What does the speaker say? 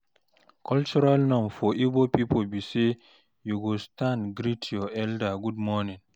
cultural norms for igbo pipo bi say yu go stand greet yur elder good morning